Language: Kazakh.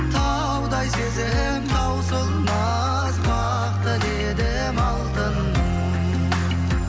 таудай сезім таусылмас бақ тіледім алтыным